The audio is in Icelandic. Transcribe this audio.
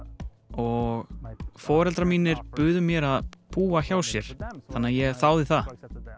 og foreldrar mínir buðu mér að búa hjá sér svo að ég þáði það